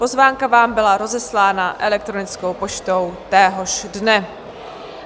Pozvánka vám byla rozeslána elektronickou poštou téhož dne.